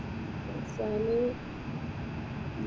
വെറെ